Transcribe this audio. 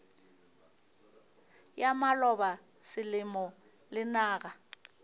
ya maloba selemo le naga